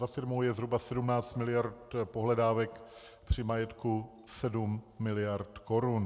Za firmou je zhruba 17 miliard pohledávek při majetku 7 miliard korun.